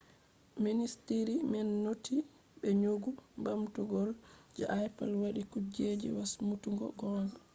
ministiri man noti be nyogu ɓamtol je apple wadi kuje wasmutuggo gonga